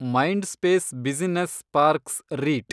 Mindspace business parks ರೀಟ್